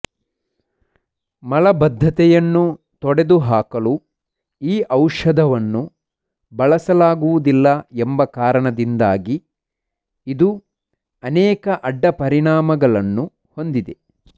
ಮಲಬದ್ಧತೆಯನ್ನು ತೊಡೆದುಹಾಕಲು ಈ ಔಷಧವನ್ನು ಬಳಸಲಾಗುವುದಿಲ್ಲ ಎಂಬ ಕಾರಣದಿಂದಾಗಿ ಇದು ಅನೇಕ ಅಡ್ಡ ಪರಿಣಾಮಗಳನ್ನು ಹೊಂದಿದೆ